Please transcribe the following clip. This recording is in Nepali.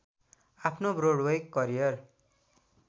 आफ्नो ब्रडवे करियर